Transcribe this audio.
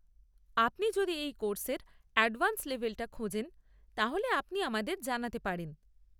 আপনি যদি এই কোর্স এর অ্যাডভান্স লেভেলটা খোঁজেন, তাহলে আপনি আমাদের জানাতে পারেন।